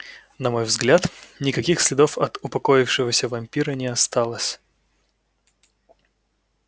на мой взгляд никаких следов от упокоившегося вампира не осталось